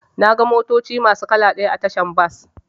Naga motoci masu kala ɗaya a tashar bas.